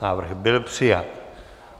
Návrh byl přijat.